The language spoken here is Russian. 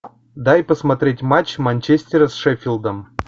дай посмотреть матч манчестера с шеффилдом